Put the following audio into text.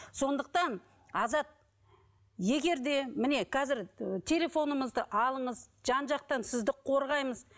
сондықтан азат егер де міне қазір телефонымызды алыңыз жан жақтан сізді қорғаймыз